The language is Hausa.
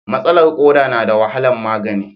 Matsalar koda na da wahalar magani.